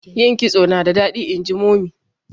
yin kitso nada dadi inji mummy